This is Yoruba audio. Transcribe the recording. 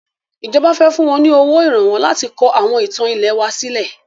Ìjọba fẹ fún wọn ní owó Ìrànwọ́ láti kọ àwọn ìtàn ilẹ̀ wa sílẹ̀